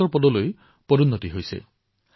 এবছৰ পূৰ্বে তেওঁ কাৰ্গিলৰ এখন সৰু গাঁৱত বাস কৰিছিল